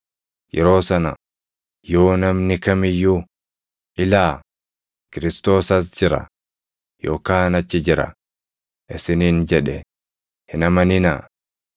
Yeroo sana yoo namni kam iyyuu, ‘Ilaa, Kiristoos as jira!’ yookaan ‘Achi jira!’ isiniin jedhe, hin amaninaa.